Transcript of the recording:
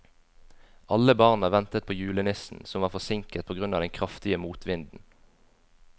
Alle barna ventet på julenissen, som var forsinket på grunn av den kraftige motvinden.